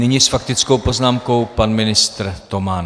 Nyní s faktickou poznámkou pan ministr Toman.